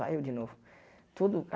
Vai, eu de novo. Todo